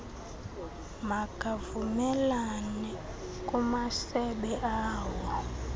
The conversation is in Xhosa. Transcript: makavumelane kumasebe awo